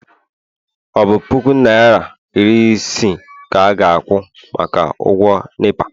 ọ bụ puku naịra iri isii ka a ga-akwụ maka ụgwọ nepa?